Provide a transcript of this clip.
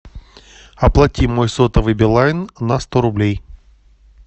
оплати мой сотовый билайн на сто рублей